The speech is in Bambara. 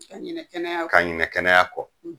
Ka ɲinɛ kɛnɛya kɔ! ka ɲinɛ kɛnɛya kɔ.